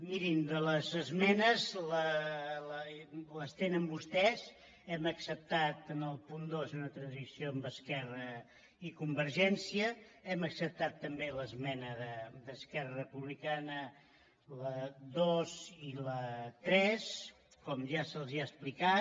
mirin de les esmenes les tenen vostès hem acceptat en el punt dos una transacció amb esquerra i convergència hem acceptat també l’esmena d’esquerra republicana la dos i la tres com ja se’ls ha explicat